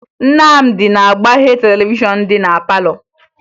Nnamdị na-agbaghe televishọn dị na palọ